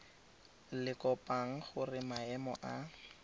le kopang gore maemo a